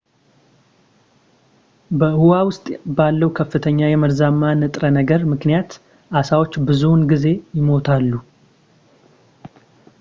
በውኃ ውስጥ ባለው ከፍተኛ የመርዛማ ንጥረ ነገር ምክንያት ዓሦች ብዙውን ጊዜ ይሞታሉ